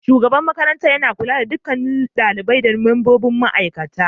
Shugaban makarantar yana kula da duk lamuran ɗalibai da membobin ma'aikata.